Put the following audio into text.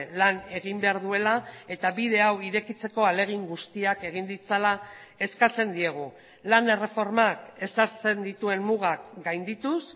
lan egin behar duela eta bide hau irekitzeko ahalegin guztiak egin ditzala eskatzen diegu lan erreformak ezartzen dituen mugak gaindituz